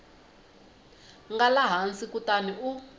nga laha hansi kutani u